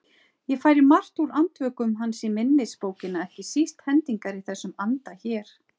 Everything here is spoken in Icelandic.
Ég færi margt úr Andvökum hans í minnisbókina, ekki síst hendingar í þessum anda hér